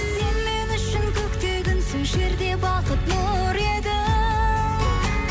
сен мен үшін көкте күнсің жерде бақыт нұр едің